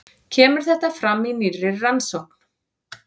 Kemur þetta fram í nýrri rannsókn